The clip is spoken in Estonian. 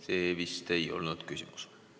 See vist ei olnud küsimus?